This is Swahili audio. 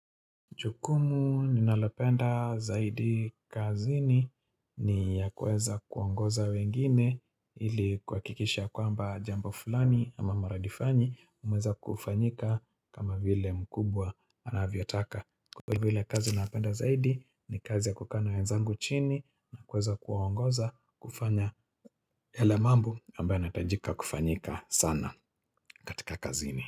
Chukumu ninalopenda zaidi kazini ni ya kuweza kuongoza wengine ili kuhakikisha kwamba jambo fulani ama maradifanyi umeweza kufanyika kama vile mkubwa anavyotaka. Kwa hivyo ile kazi napenda zaidi ni kazi ya kukaa na wenzangu chini na kuweza kuwaongoza kufanya yale mambo ambao yanatajika kufanyika sana katika kazini.